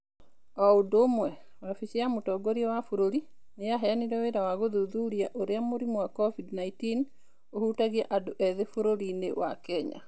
O ũndũ ũmwe, wabici ya Mũtongoria wa bũrũri nĩ yaheanire wĩra wa gũthuthuria ũrĩa mũrimũ wa Covid-19 ũhutagia andũ ethĩ bũrũri-inĩ wa Kenya.